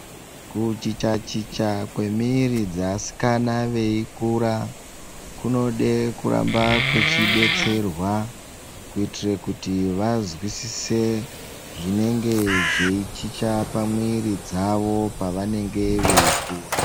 Kuchicha-chicha kwemiiri dzeasikana veikura kunode kuramba kwechidetserwa kutire kuti vazwisise zvinenge zveichicha pamwiiri dzavo pavanenge veikura.